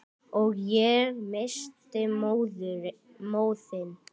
Og ég missti móðinn.